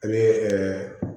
An bɛ